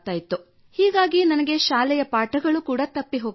ಹೀಗಾಗಿ ನನಗೆ ಶಾಲೆಯ ಪಾಠಗಳು ಕೂಡಾ ತಪ್ಪಿ ಹೋಗುತ್ತಿದ್ದವು